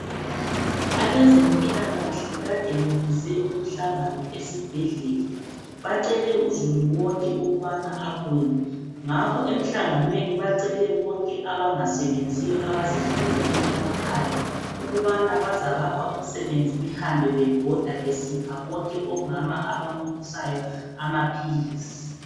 Abezempilakahle kade bebize umhlangano esibhedlela bacele uzulu wonke ukubana abuye, ngakho emhlanganweni bacele bonke abangasebenziyo abazihlaleleyo emakhaya ukubana bazabapha umsebenzi behambe bebhoda besipha bonke omama abamunyisayo amaphilisi.